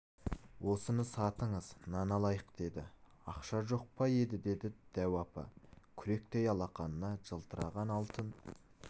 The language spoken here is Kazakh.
осыны сатыңыз нан алайық деді ақша жоқ па еді деді дәу апа күректей алақанында жылтыраған алтын